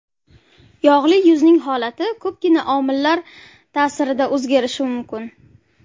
Yog‘li yuzning holati ko‘pgina omillar ta’sirida o‘zgarishi mumkin.